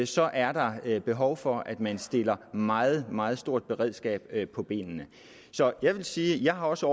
så er der behov for at man stiller meget meget stort beredskab på benene så jeg vil sige at jeg også